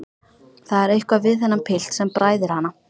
Það er eitthvað við þennan pilt sem bræðir hana.